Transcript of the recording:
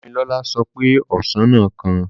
Dámilọ́lá sọ pé ọsàn náà kan